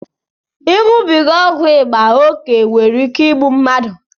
Iṅụbiga ọgwụ ịba oke nwere ike igbu mmadụ